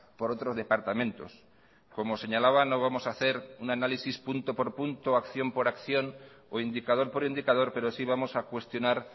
por otros departamentos como señalaba no vamos a hacer un análisis punto por punto acción por acción o indicador por indicador pero sí vamos a cuestionar